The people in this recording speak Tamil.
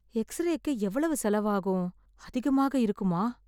எக்ஸ்ரேக்கு எவ்வளவு செலவாகும். அதிகமாக இருக்குமா?